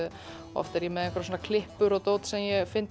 oft er ég með einhverjar klippur og dót sem ég finn